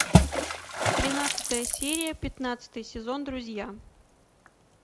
тринадцатая серия пятнадцатый сезон друзья